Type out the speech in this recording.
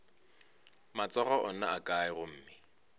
matsogo ona a kae gomme